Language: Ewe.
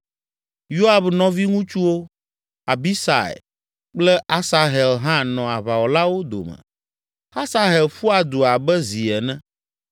Yoab nɔviŋutsuwo, Abisai kple Asahel hã nɔ aʋawɔlawo dome. Asahel ƒua du abe zi ene